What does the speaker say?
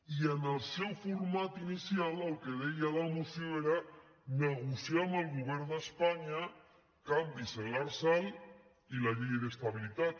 i en el seu format inicial el que deia la moció era negociar amb el govern d’espanya canvis en l’lrsal i la llei d’estabilitat